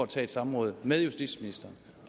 tage et samråd med justitsministeren